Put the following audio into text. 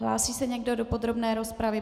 Hlásí se někdo do podrobné rozpravy?